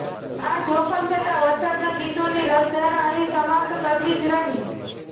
આ જોખમ છતાં વરસાદનાં ગીતોની રસધાર અહીં સમાપ્ત કરવી જ રહી